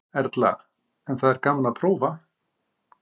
Erla: En það er gaman að prófa?